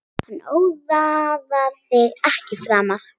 Hann ónáðar þig ekki framar.